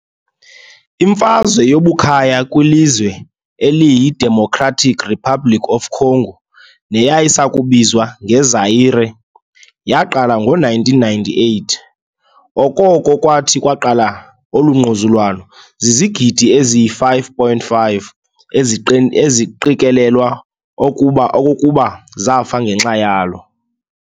Imfazwe yobukhaya kwilizwe eliyi-Democratic Republic of the Congo, neyayisayakubizwa nge-Zaire, yaaqala ngo-1998. Okoko kwathi kwaqala olu ngquzulwano, zizigidi ezi-5,5 eziqikelelwa okokuba zafa ngenxa yalo.